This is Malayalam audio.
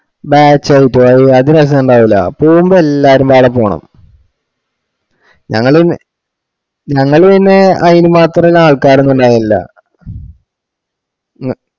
batch out ഒ അത് രസണ്ടാവൂല പോവുമ്പോ എല്ലാരും മേലെ പോണ ഞങ്ങൾ പിന്നെ ഞങ്ങള് പിന്നെ അയിനുമാത്രള്ള ആള്ക്കാര് ഒന്നും ഇന്ത ഇണ്ടാവലില്